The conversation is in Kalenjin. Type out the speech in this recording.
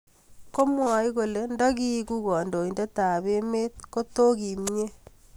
komwoi kolee nda kiuku kondoindet ab emet koto kimie